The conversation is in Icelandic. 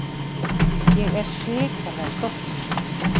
Ég er hrikalega stoltur.